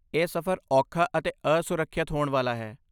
ਇਹ ਸਫ਼ਰ ਔਖਾ ਅਤੇ ਅਸੁਰੱਖਿਅਤ ਹੋਣ ਵਾਲਾ ਹੈ।